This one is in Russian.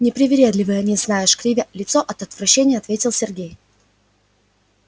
непривередливые они знаешь кривя лицо от отвращения ответил сергей